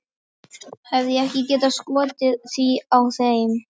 Hefði ég ekki getað skotið því að þeim